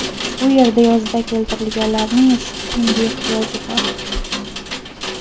Bu yerga yozda keltirilganlarning issiq kiyimga ehtiyoji bor.